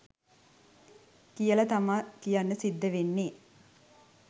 කියල තමා කියන්න සිද්ධ වෙන්නේ.